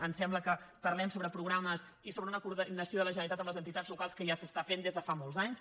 em sembla que parlem sobre programes i sobre una coordinació de la generalitat amb les entitats locals que ja s’està fent des de fa molts anys